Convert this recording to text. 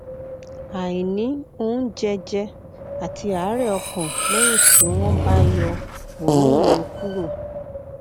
àìní oúnjẹ jẹ àti àárẹ ọkàn lẹyìn tí wọn tí wọn bá yọ òróǹro kúrò